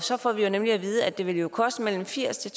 så får vi nemlig at vide at det vil koste mellem firs